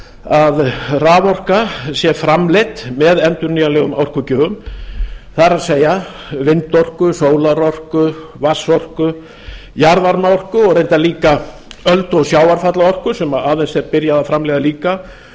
að raforka sé framleidd með endurnýjanlegum orkugjöfum það er vindorku sólarorku vatnsorku jarðvarmaorku og reyndar líka öldu og sjávarfallaorku sem aðeins er byrjað að framleiða líka